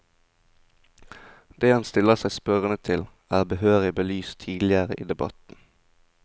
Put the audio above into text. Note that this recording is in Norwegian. Det han stiller seg spørrende til, er behørig belyst tidligere i debatten.